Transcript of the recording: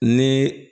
Ni